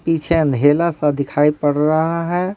पीछे अंधेला सा दिखाई पड़ रहा है।